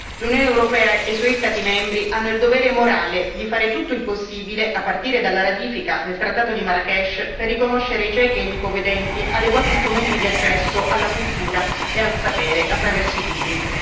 L'Unione europea e i suoi Stati membri hanno il dovere morale di fare tutto il possibile, a partire dalla ratifica del trattato di Marrakech, per riconoscere ai ciechi e agli ipovedenti adeguati strumenti di accesso alla cultura e al sapere attraverso i libri.